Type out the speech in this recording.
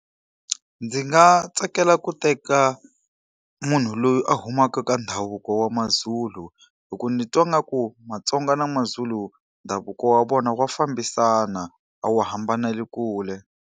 Ndzi nga tsakela ku teka munhu loyi a humaka ka ndhavuko wa maZulu. Hikuva ni twa ngaku maTsonga na maZulu ndhavuko ya vona ya fambisana, a wu hambaneli kule.